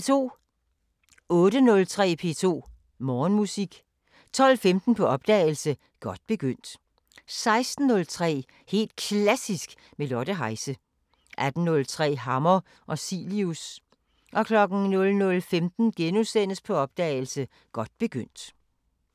08:03: P2 Morgenmusik 12:15: På opdagelse – Godt begyndt 16:03: Helt Klassisk med Lotte Heise 18:03: Hammer og Cilius 00:15: På opdagelse – Godt begyndt *